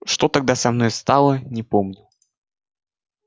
что тогда со мною стало не помню